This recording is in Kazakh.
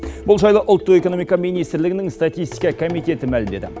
бұл жайлы ұлттық экономика министрлігінің статистика комитеті мәлімдеді